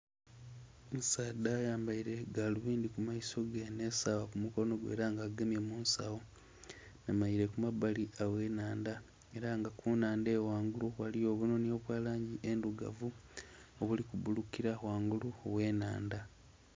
Omusaadha ayambaire galubindhi ku maiso ge nhe sawa ku mukonho gwe era nga agemye kunsagho ayemereire ku mabali aghe nhandha era nga ku nhandha eyo ghangulu ghaligho obunhonhi obwa langi endhirugavu obuli ku buulukila ghangulu oghe nhandha.